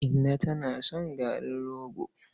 Inna tana son garin rogo.